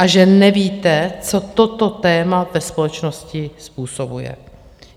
A že nevíte, co toto téma ve společnosti způsobuje.